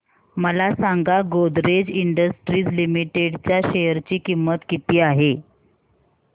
मला सांगा Godrej industries limited च्या शेअर ची किंमत किती आहे